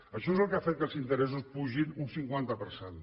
això és el que ha fet que els interessos pugin un cinquanta per cent